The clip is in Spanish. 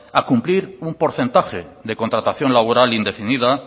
a cumplir un porcentaje de contratación laboral indefinida